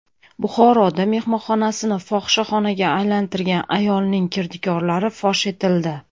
Buxoroda mehmonxonasini fohishaxonaga aylantirgan ayolning kirdikorlari fosh etildi.